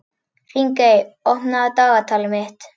Þingey, opnaðu dagatalið mitt.